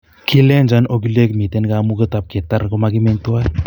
Kilenjon ogiliek miten kamuget ap keter komogimeny tuan.